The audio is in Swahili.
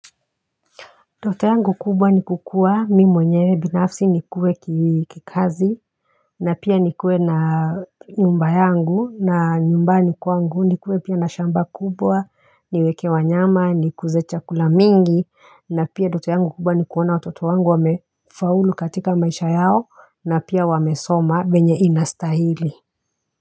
Ndoto yangu kubwa ni kukua, mi mwenyewe binafsi nikuwe kikazi, na pia ni kuwe na nyumba yangu, na nyumbani kwangu nikuwe pia na shamba kubwa, niweke wanyama, nikuze chakula mingi, na pia ndoto yangu kubwa ni kuona watoto wangu wamefaulu katika maisha yao, na pia wamesoma venye inastahili.